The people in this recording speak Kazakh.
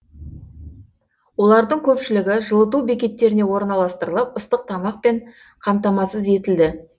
олардың көпшілігі жылыту бекеттеріне орналастырылып ыстық тамақпен қамтамасыз етілді